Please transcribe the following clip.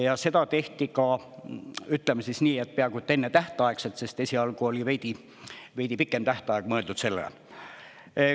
Ja seda tehti ka, ütleme siis nii, et peaaegu ennetähtaegselt, sest esialgu oli veidi pikem tähtaeg mõeldud sellele.